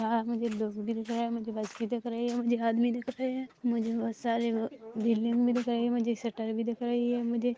यहाँ मुझे लोग भी दिख रहे हैं मुझे बस भी दिख रही हैं मुझे आदमी दिख रहे है मुझे बहुत सारी बिल्डिंग भी दिख रही है मुझे शटर भी दिख रही है मुझे--